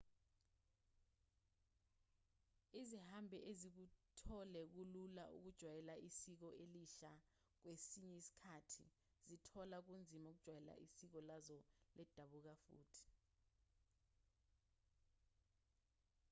izihambi ezikuthole kulula ukujwayela isiko elisha kwesinye isikhathi zikuthola kunzima ukujwayela isiko lazo lendabuko futhi